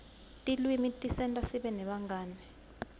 tilwimi tisenta sibe nebangani